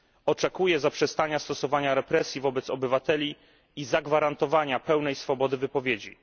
Oczekuję zaprzestania stosowania represji wobec obywateli i zagwarantowania pełnej swobody wypowiedzi.